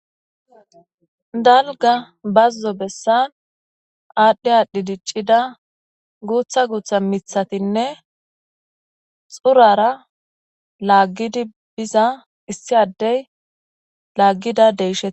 Dalgga bazo bessan adhdhi adhdhi diccida gutha gutha miththatinne xurara laagidi biiza issi addey laagida deyshshe.